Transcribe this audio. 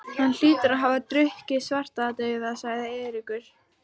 Hann hlýtur að hafa drukkið Svartadauða, sagði Eiríkur.